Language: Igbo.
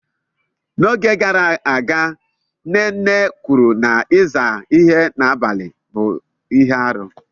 Oge gara aga nne nne kwuru na ịza ihe n'abalị bụ ihe aru.